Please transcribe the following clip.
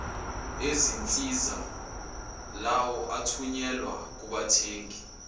ezinsiza lawoathunyelwa kubathengi